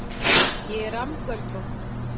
Ég er rammgöldrótt.